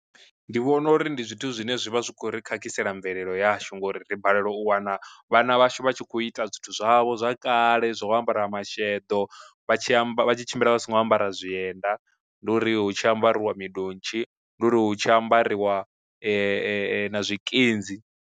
Ndi vhona uri ndi zwithu zwine zwi vha zwi khou ri khakhisea mvelelo yashu ngori ri balelwa u wana vhana vhashu vha tshi khou ita zwithu zwavho zwa kale zwo ambara masheḓo, vha tshi amba vha tshi tshimbila vha songo ambara zwienda ndi uri hu tshi ambariwa midontshi ndi uri hu tshi ambariwa na zwikinzi.